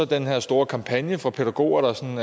den her store kampagne for pædagoger der som